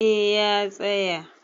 eh ya tsaya